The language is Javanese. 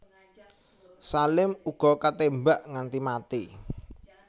Salim uga ketémbak nganti mati